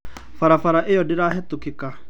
Barabara ĩyo ndĩrahĩtũkĩka